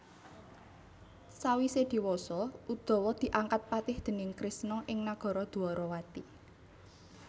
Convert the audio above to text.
Sawise dhewasa Udawa diangkat patih déning Kresna ing nagara Dwarawati